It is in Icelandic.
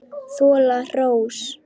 Þola hrós.